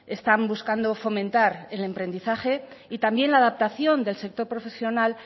están buscando fomentar el emprendizaje y también la adaptación del sector profesional